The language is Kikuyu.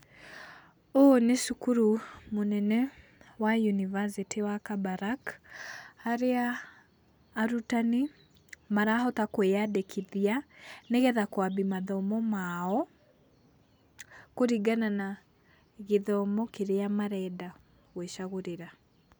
Ũũ nĩ cukuru mũnene wa univacitĩ wa Kabarak harĩa arutani marahota kwĩandĩkithia nĩgetha kwambia mathomo mao kũringana na gĩthomo kĩrĩa marenda gwĩcagũrĩra.